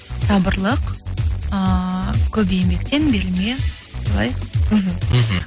сабырлық ыыы көп еңбектен берілме солай мхм мхм